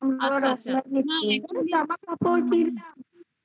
ping